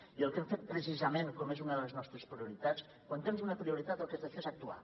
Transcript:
i el que hem fet precisament com és una de les nostres prioritats quan tens una prioritat el que has de fer és actuar